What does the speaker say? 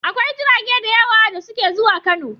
Akwai jirage da yawa da suke zuwa Kano.